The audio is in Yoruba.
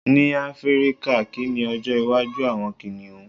ní áfíríkà, ki ni ọjọ iwaju awọn kìnìún